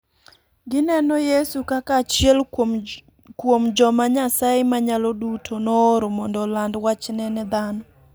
Gineno Yesu kaka achiel kuom joma Nyasaye Manyalo Duto nooro mondo oland wachne ne dhano.